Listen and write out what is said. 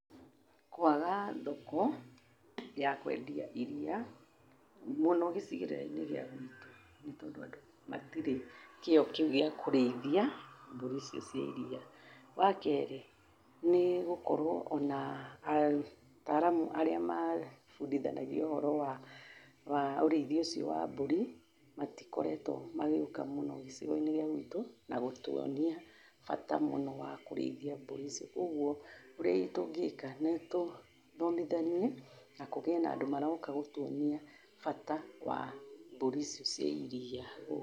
Kũaga thoko, ya kwendia iria, mũno gĩcigĩrĩrainĩ gĩa guitũ, nĩtondũ andu matirĩ kĩo kĩu gĩa kũrĩithia, mbũri icio cia iria. Wakeri, nĩgũkorũo ona, ataramu arĩa, mabudithanagia ũhoro wa, wa, ũrĩithi ũcio wa mbũri, matikoretũo magĩũka muno gĩcigoinĩ gĩa gwitũ, na gũtuonia, bata mũno wa kũrĩithi mbũri ici, ũguo, ũrĩa tũngĩka nĩtũthomithanie na kũgĩe na andũ megũka gũtuonia bata wa mbũri ici cia iria gũkũ.